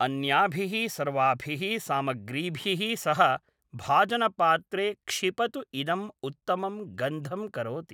अन्याभिः सर्वाभिः सामग्रीभिः सह भाजनपात्रे क्षिपतु इदं उत्तमं गन्धं करोति